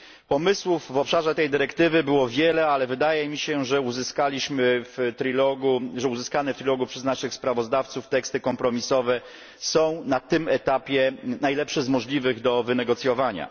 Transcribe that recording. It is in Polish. Pomysłów w obszarze tej dyrektywy było wiele, ale wydaje mi się, że uzyskane w rozmowach trójstronnych przez naszych sprawozdawców teksty kompromisowe są na tym etapie najlepsze z możliwych do wynegocjowania.